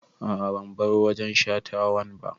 A'a ban bar wajen shatawan ba